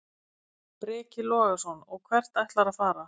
Breki Logason: Og hvert ætlarðu að fara?